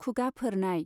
खुगा फोरनाय